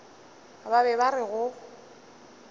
ba be ba re go